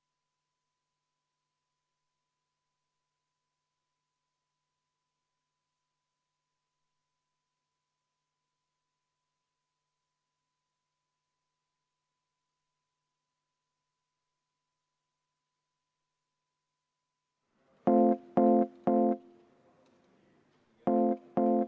Vastupidi, tegelikult on kõik osapooled leidnud, et see on vajalik.